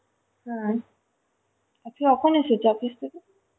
হ্যা, আজকে কখন এসেছো office থেকে?